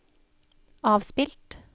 avspilt